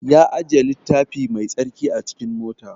Ya ajiye littafi mai tsarki a cikin mota